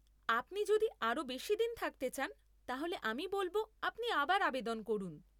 আপনি যদি আরও বেশি দিন থাকতে চান তাহলে আমি বলব আপনি আবার আবেদন করুন।